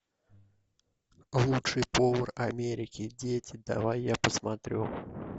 лучший повар америки дети давай я посмотрю